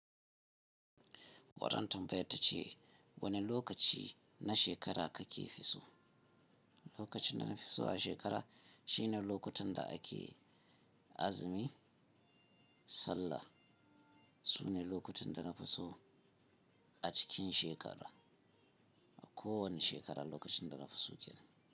Wannan tambayar tace wani lokaci na shekara kake fi so? Lokaci na nafi so a shekara shine lokutan da ake azumi, sallah. Sune lokutan da nafi so a cikin shekara, a kowane shekara lokacin da na fi so kenan.